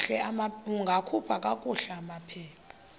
ungakhupha kakuhle amaphepha